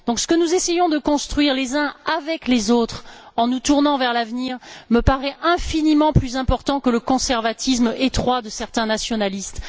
Ce que nous essayons de construire les uns avec les autres, en nous tournant vers l'avenir, me paraît infiniment plus important que le conservatisme étroit de certains nationalistes.